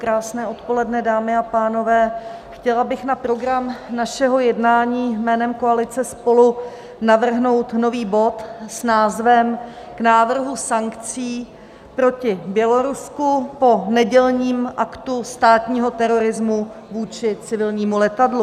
Krásné odpoledne, dámy a pánové, chtěla bych na program našeho jednání jménem koalice SPOLU navrhnout nový bod s názvem K návrhu sankcí proti Bělorusku po nedělním aktu státního terorismu vůči civilnímu letadlu.